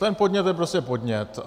Ten podnět je prostě podnět.